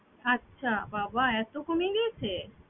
আচ্ছা বাবা এত কমে গিয়েছে!